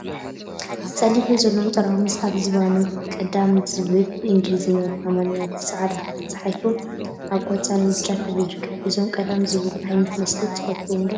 ፀሊም ሕብሪ ዘለዎም ጠራሙዝ አብ ዝባኖመ ቀዳም ዝብል ብእንግሊዘኛን ብአምሓርኛን ብፃዕዳ ተፃሒፉ አብ ቆፃልን ብጫን ሕብሪ ይርከቡ፡፡ እዞም ቀዳም ዝብሉ ዓይነት መስተ ትፈትዎም ዶ ?